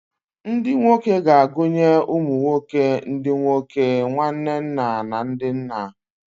Ndị nwoke na-agụnye ụmụ nwoke, ndị nwoke, nwanne nna, na ndị nna.